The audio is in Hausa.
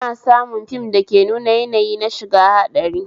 Ana samu fim dake nuna yanayi na shiga haɗari